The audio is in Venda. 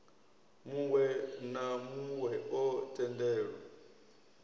muwe na muwe o tendelwa